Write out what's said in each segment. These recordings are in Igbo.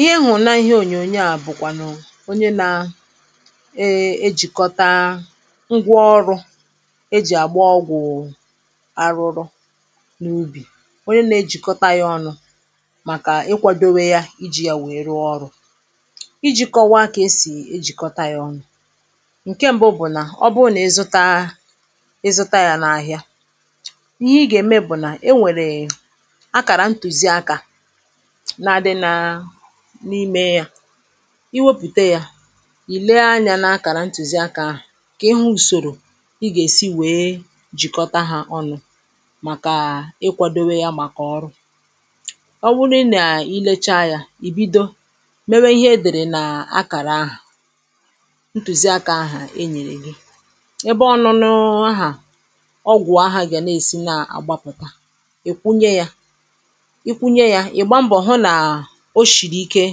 ihe m̀ hụ̀rụ̀ n’ihe ònyòònyò à bụ̀kwànụ̀ onye na ejikọta ngwa ọrụ e jì àgba ọgwụ̀ arụrụ n’ubì onye nà-èjikọta ọnụ̄ màkà ịkwādòwe ya ijī ya wèè rụ̀ọ ọrụ̄ ijī kọwaa kà e sì èjikọta ya ọnụ̄ ǹkè mbụ̄ bụ̀ nà ọ bụrụ nà ịzụta ya n’ahị̀a ihe i gà-ème bụ̀ nà enwèrè akàrā ntùzīakā na-adị n’imē ya i wepụ̀ta yā ìlee anya n’ akàrā ntùzīakā ahụ̀ ka ịhụ ùsòrò ị gà-èsi wèe j̀ikọta ha ọnụ̄ màkà ịkwādòwe ya màkà ọrụ ọ wụrụ nà ilechaa anyā ì bido mewa ihe e dèrè n’akàra ahụ̀ ntùzīakā ahụ̀ enyèrè gi ebe ọnụ̄nụ̄ ahụ̀ ọgwụ̀ àhụ gà-èsi nà-àgbapụ̀ta ìkwunye ya ikwunye ya ìgba: mbọ̀ hụ nà ò sìrì ike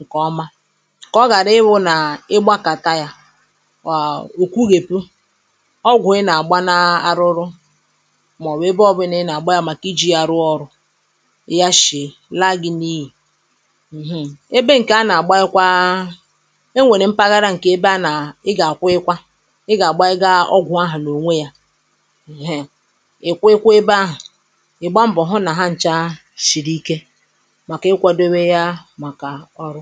ǹkèọma kà ọ gàrà ị wụ̄ nà ịgbākàtà ya òkwuhèpu ọgwụ̀ ị nà-àgba n’arụrụ màọbụ̀ ebe ọbụ̀là i nà-àgba ya màkà ijī ya rụọ̀ ọrụ yachiè laa gi n’iyì ebe ǹkè a nà-àgbanyekwa e nwèrè mpaghara ǹkè ebe a nà ị gà-àkwụyikwa ị gà-àgbanyega ọgwụ̀ ahụ̀ n’ònwe ya ịkwụ̄yikwa ebe ahụ̀ ị̀ gbaa mbọ̀ hụ nà ha nchā sìrì ike màkà ikwādowe yà màkà ọrụ